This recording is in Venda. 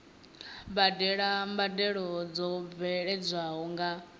badela mbadelo dzo bveledzwaho nga